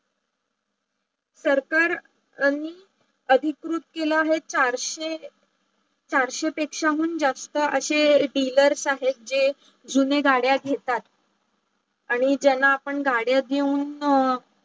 सरकारनी अधिकृत केला चारशे, चारशे पेक्षाहून जास्त अशे dealers आहे जे जुने गाड्या घेतात. आणी ज्यांना आपण गाड्या देऊन